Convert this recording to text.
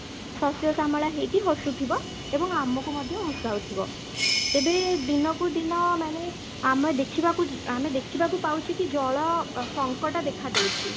ଶସ୍ୟଶ୍ୟାମଳା ହେଇକି ହସୁଥିବ ଏବଂ ଆମକୁ ମଧ୍ୟ ହସାଉଥିବ, ତେବେ ଦିନକୁ ଦିନ ମାନେ ଆମେ ଦେଖିବାକୁ ଆମେ ଦେଖିବାକୁ ପାଉଛେ କି ଜଳ ସଙ୍କଟ ଦେଖା ଦେଉଛି